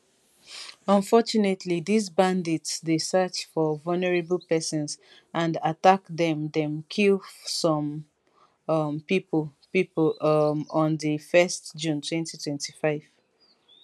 unfortunately dis bandits dey search for vulnerable pesins and attack dem dem kill some um pipo pipo um on 1st june 2025